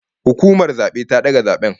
Hukumar zabe ta daga zaben